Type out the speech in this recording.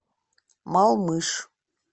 малмыж